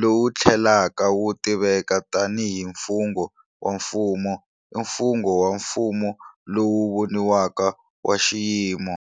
lowu tlhelaka wu tiveka tanihi mfungho wa mfumo, i mfungho wa mfumo lowu voniwaka wa xiyimo.